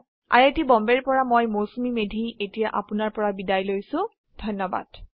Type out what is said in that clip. I I T Bombay ৰ পৰা মই মৌচুমী মেধী এতিয়া আপুনাৰ পৰা বিদায় লৈছো যোগদানৰ বাবে ধন্যবাদ